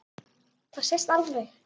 Það sést alveg.